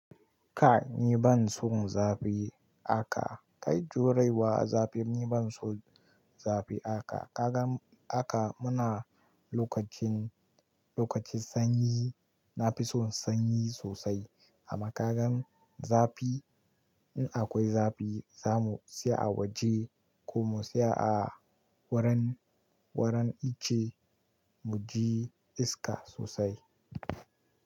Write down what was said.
Kai ni ban so zafi haka, kai juraewa zafi ni ban so zafi haka. Ka gan haka mu na lokacin, lokacin sanyi, na fi son sanyi sosai. Amma ka gan zafi in akwai zafi za mu siya a waje ko mu siya a wurin, wurin ice mu ji iska sosai.